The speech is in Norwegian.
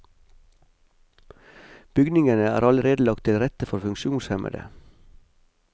Bygningene er allerede lagt til rette for funksjonshemmede.